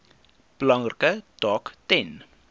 belangrike taak ten